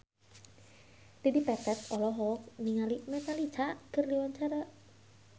Dedi Petet olohok ningali Metallica keur diwawancara